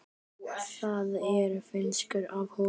Það er fnykur af honum.